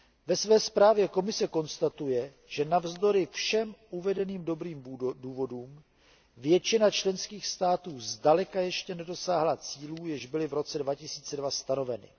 Ve své zprávě Komise konstatuje, že navzdory všem uvedeným dobrým důvodům většina členských států zdaleka ještě nedosáhla cílů, jež byly v roce 2002 stanoveny.